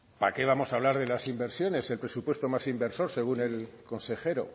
para qué vamos hablar de las inversiones el presupuesto más inversor según el consejero